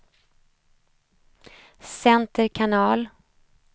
center kanal